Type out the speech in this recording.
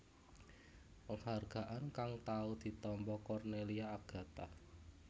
Penghargaan kang tau ditampa Cornelia Agatha